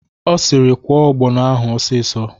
O siri "Kwọọ ọgbọnọ ahụ ọsịsọ!"